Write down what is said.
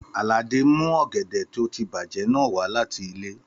Àlàdé mu ọ̀gẹ̀dẹ̀ tó ti bàjẹ́ náà wa láti ilé.